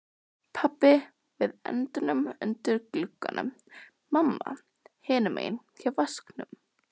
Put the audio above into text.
Pabbi við endann undir glugganum, mamma hinum megin hjá vaskinum.